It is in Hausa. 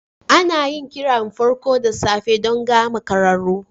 Ana yin kirar farko da safe don ga makararru.